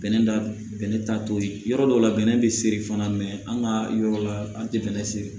Bɛnɛ da bɛnɛ ta t'o ye yɔrɔ dɔw la bɛnɛ be seri fana an ka yɔrɔ la an te bɛnɛ seri